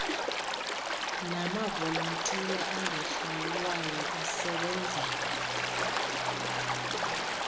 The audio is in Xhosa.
namavolontiya angahlawulwayo asebenzela